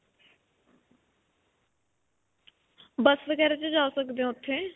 Bus ਵਗੈਰਾ 'ਚ ਜਾ ਸਕਦੇ ਹੋ ਓੱਥੇ.